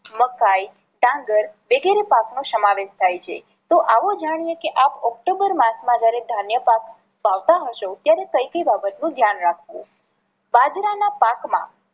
મકાઇ, ડાંગર વગેરે પાક નો સમાવેશ થાય છે. તો આવો જાણીએ કે આપ ઓક્ટોમ્બર માસ માં જ્યારે ધાન્ય પાક વાવતા હશો ત્યારે કઈ કઈ બાબત નું ધ્યાન રાખવું.